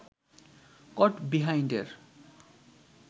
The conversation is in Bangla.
কট বিহাইন্ডের